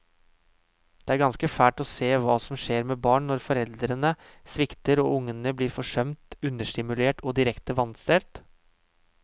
Det er ganske fælt å se hva som skjer med barn når foreldrene svikter og ungene blir forsømt, understimulert og direkte vanstelt.